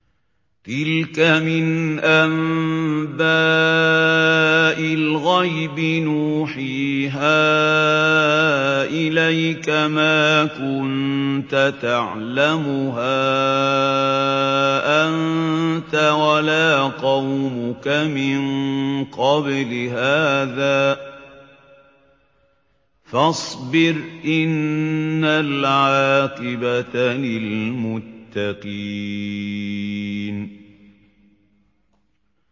تِلْكَ مِنْ أَنبَاءِ الْغَيْبِ نُوحِيهَا إِلَيْكَ ۖ مَا كُنتَ تَعْلَمُهَا أَنتَ وَلَا قَوْمُكَ مِن قَبْلِ هَٰذَا ۖ فَاصْبِرْ ۖ إِنَّ الْعَاقِبَةَ لِلْمُتَّقِينَ